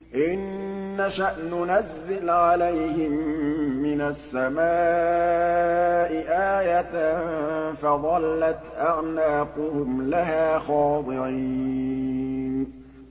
إِن نَّشَأْ نُنَزِّلْ عَلَيْهِم مِّنَ السَّمَاءِ آيَةً فَظَلَّتْ أَعْنَاقُهُمْ لَهَا خَاضِعِينَ